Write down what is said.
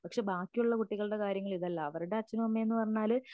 പക്ഷേ ബാക്കിയുള്ള കുട്ടികളുടെ കാര്യമിതല്ല അവരുടെ അച്ഛനും അമ്മയും എന്നുപറഞ്ഞാല്